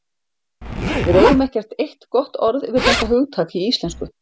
Við eigum ekkert eitt gott orð yfir þetta hugtak í íslensku.